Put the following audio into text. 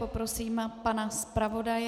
Poprosím pana zpravodaje.